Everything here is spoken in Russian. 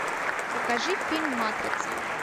покажи фильм матрица